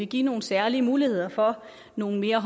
give nogle særlige muligheder for nogle mere